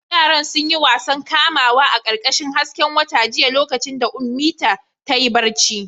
Yaran sun yi wasan kamawa a ƙarƙashin hasken wata jiya lokacin da Ummita ta yi barci.